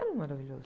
Era maravilhoso.